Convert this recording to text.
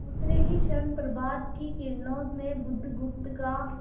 दूसरे ही क्षण प्रभात की किरणों में बुधगुप्त का